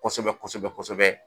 Kɔsɛbɛ Kɔsɛbɛ Kɔsɛbɛ